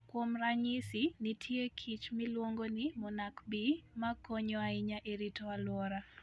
Kuom ranyisi, nitie kich miluongo ni monarch bee, ma konyo ahinya e rito alwora.